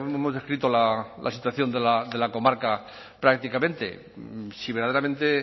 hemos descrito la situación de la comarca prácticamente si verdaderamente